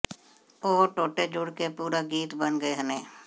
ਉਹ ਟੋਟੇ ਜੁੜ ਕੇ ਪੂਰਾ ਗੀਤ ਬਣ ਗਏ ਨੇ